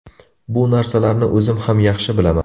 Bu narsalarni o‘zim ham yaxshi bilaman.